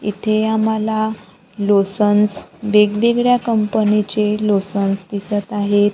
इथे आम्हाला लोसन्स वेगवेगळ्या कंपनी चे लोसन्स दिसत आहेत.